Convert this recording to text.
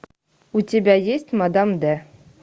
у тебя есть мадам д